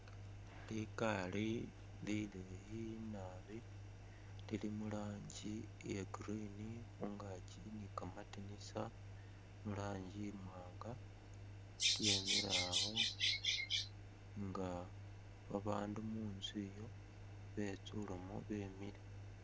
Likari lileyi naabi Lili muranji iya green khungaaki ili ni'kamandinisa muranji imwanga yemilawo nga babandu munzu iyo betsulewo wemile